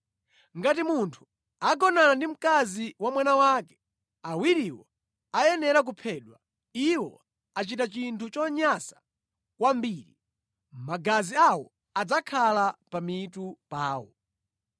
“ ‘Ngati munthu agonana ndi mkazi wa mwana wake, awiriwo ayenera kuphedwa. Iwo achita chinthu chonyansa kwambiri. Magazi awo adzakhala pa mitu pawo.